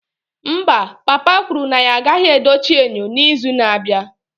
Mba, papa kwuru na ya agaghị edochi enyo n'izu na-abịa